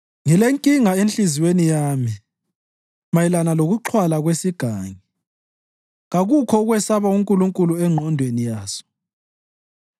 Ngilenkinga enhliziyweni yami mayelana lokuxhwala kwesigangi: Kakukho ukwesaba uNkulunkulu engqondweni yaso.